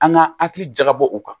An ka hakili jakabɔ u kan